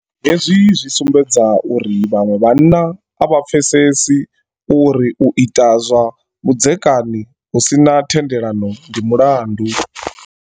Hezwi zwi sumbedza uri vhaṅwe vhanna a vha pfesesi uri u ita zwa vhudzekani hu si na thendelano ndi mulandu.